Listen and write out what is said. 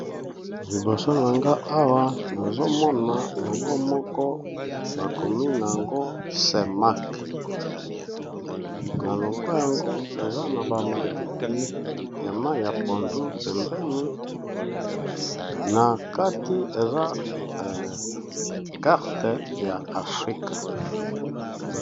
liboso na nga awa nazomona logo moko bakomi na yango semak na logo yango eza na bamatiti ya mayi ya pondu pembeni na kati eza karte ya afrika